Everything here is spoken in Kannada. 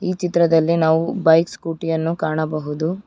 ಚಿತ್ರದಲ್ಲಿ ನಾವು ಬೈಕ್ ಸ್ಕೂಟಿ ಯನ್ನು ಕಾಣಬಹುದು.